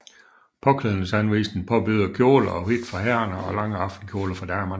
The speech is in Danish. Påklædningsanvisninger påbyder kjole og hvidt for herrerne og lange aftenkjoler for damerne